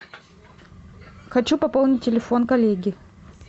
хочу пополнить телефон коллеги